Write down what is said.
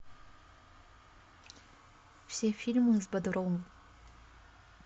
все фильмы с бодровым